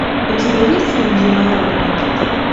у тебя есть фильм живая радуга